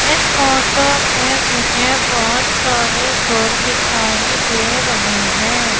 इस फोटो पे मुझे बहोत सारे घर दिखाई दे रहे है।